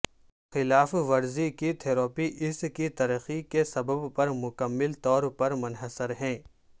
خلاف ورزی کی تھراپی اس کی ترقی کے سبب پر مکمل طور پر منحصر ہے